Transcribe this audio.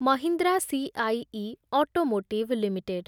Mahindra CIE automotive limited